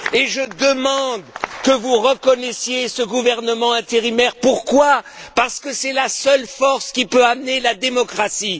Je demande que vous reconnaissiez ce gouvernement intérimaire parce que c'est la seule force qui peut amener la démocratie.